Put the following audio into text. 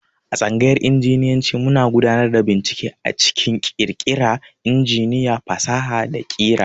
A tsangayar Injinyanci muna gudanar da bincike a cikin ƙirƙira injiniya, fasaha, da ƙira.